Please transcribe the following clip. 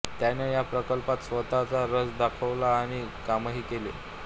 त्याने या प्रकल्पात स्वतः रस दाखवला आणि कामही केले